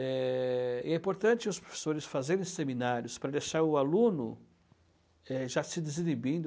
É e é importante os professores fazerem seminários para deixar o aluno é já se desinibindo.